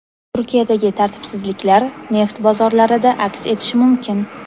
Turkiyadagi tartibsizliklar neft bozorlarida aks etishi mumkin.